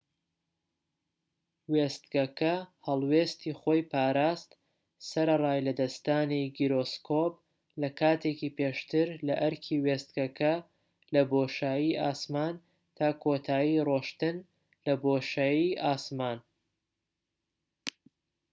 وێستگەکە هەڵوێستی خۆی پاراست، سەرەڕای لەدەستدانی گیرۆسکۆب لە کاتێکی پێشتر لەئەرکی وێستگەکە لە بۆشایی ئاسمان، تا کۆتایی ڕۆیشتن لە بۆشایی ئاسمان‎